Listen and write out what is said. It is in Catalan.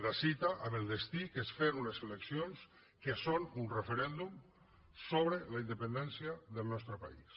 la cita amb el destí que és fer unes eleccions que són un referèndum sobre la independència del nostre país